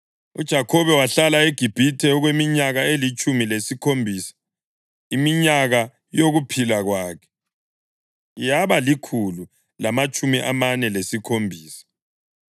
UJakhobe wahlala eGibhithe okweminyaka elitshumi lesikhombisa, iminyaka yokuphila kwakhe yaba likhulu lamatshumi amane lesikhombisa.